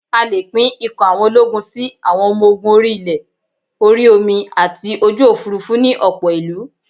A lè pín ikọ̀ àwọn ológun sí: Àwọn ọmọ ogun orí-ilẹ̀, orí omi àti ojú òfuurufú ni ọ̀pọ̀ ìlú